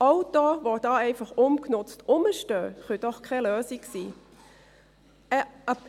Autos, die einfach ungenutzt herumstehen, können doch keine Lösung sein.